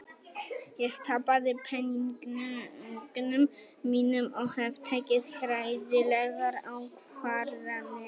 Ég tapaði peningunum mínum og hef tekið hræðilegar ákvarðanir.